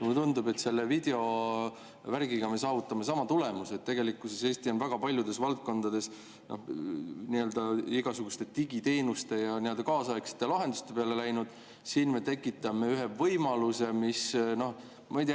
Mulle tundub, et selle videovärgiga me saavutame sama tulemuse, et tegelikkuses Eesti on väga paljudes valdkondades igasuguste digiteenuste ja nii-öelda kaasaegsete lahenduste peale läinud, ja siin me tekitame ühe võimaluse, mis, noh, ma ei tea …